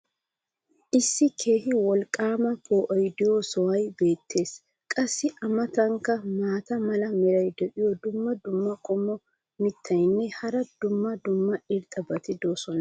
issi keehi wolqaama poo"oy diyo sohoy beetees. qassi a matankka maata mala meray diyo dumma dumma qommo mitattinne hara dumma dumma irxxabati de'oosona.